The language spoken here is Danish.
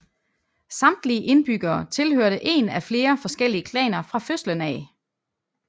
Samtlige indbyggere tilhørte en af flere forskellige klaner fra fødslen af